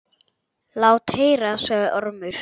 Lát heyra, sagði Ormur.